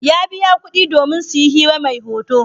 Ya biya kuɗi domin su yi hira mai hoto.